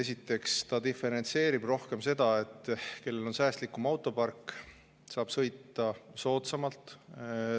Esiteks see diferentseerib rohkem seda, et see, kellel on säästlikum autopark, saab sõita soodsamalt.